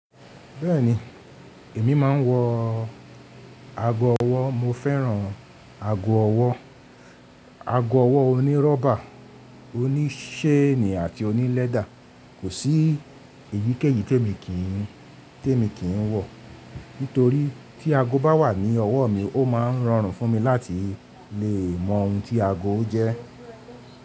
Bẹ́ẹ̀ni, èmí máa ń wọ ago ọwọ́, mo fẹ́ràn ago ọwọ́. Ago ọwọ́ onírọ́bà, oníṣéènì àti oní lẹ́dà. Kò sí èyíkéyìí tí èmi kì í, tí èmi kì í wọ̀. Nítorí tí ago bá wà ní ọwọ́ mi, ó máa ń rọrùn fún mi láti lè mọ ohun tí ago jẹ́.